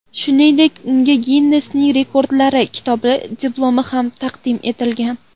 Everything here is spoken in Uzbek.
Shuningdek, unga Ginnesning Rekordlar kitobi diplomi ham taqdim etilgan.